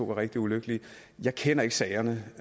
var rigtig ulykkelige jeg kender ikke sagerne